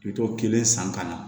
Bitɔn kelen san ka na